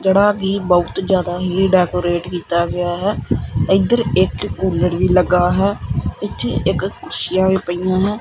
ਜੇਹੜਾ ਕੀ ਬੋਹੁਤ ਜਿਆਦਾ ਹੀ ਡੈਕੋਰੇਟ ਕੀਤਾ ਗਿਆ ਹੈ ਇੱਧਰ ਇੱਕ ਕੂਲਰ ਵੀ ਲੱਗਾ ਹੈ ਇੱਥੇ ਇੱਕ ਕੁਰਸੀਆਂ ਵੀ ਪਈਆਂ ਹੈਂ।